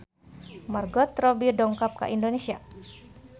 Margot Robbie dongkap ka Indonesia